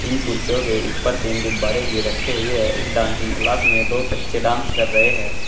इन कुर्सियों के ऊपर तीन गुब्बारे भी रखे हुए हैं। इस डांसिंग क्लास में दो बच्चे डांस कर रहे हैं।